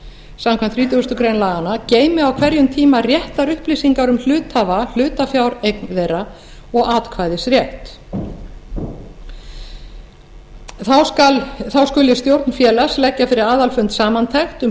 samkvæmt þrítugustu greinar laganna geymi á hverjum tíma réttar upplýsingar um hluthafa hlutafjáreign þeirra og atkvæðisrétt þá skuli stjórn félags leggja fyrir aðalfund samantekt um